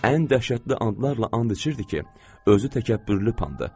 Ən dəhşətli anlarla and içirdi ki, özü təkəbbürlü pandır.